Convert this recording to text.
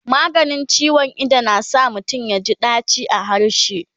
maganin ciwon Ido na sa mutum yaji daci a harshe